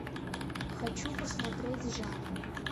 хочу посмотреть жанр